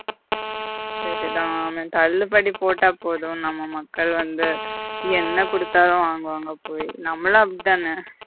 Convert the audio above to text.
சரிதான் தள்ளுபடி போட்டா போதும் நம்ம மக்கள் வந்து என்ன குடுத்தாலும் வாங்குவாங்க அப்பவே நம்மளும் அப்படித்தானே